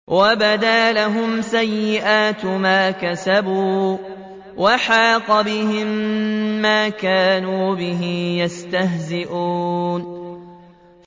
وَبَدَا لَهُمْ سَيِّئَاتُ مَا كَسَبُوا وَحَاقَ بِهِم مَّا كَانُوا بِهِ يَسْتَهْزِئُونَ